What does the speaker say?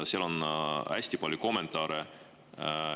Seal on hästi palju kommentaare.